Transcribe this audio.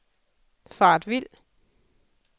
faret vild